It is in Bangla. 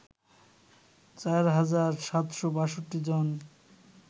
চার হাজার ৭৬২ জন